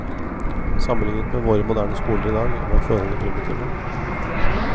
Sammenlignet med våre moderne skoler i dag var forholdene primitive.